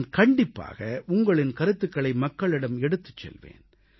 நான் கண்டிப்பாக உங்களின் கருத்துகளை மக்களிடம் எடுத்துச் செல்வேன்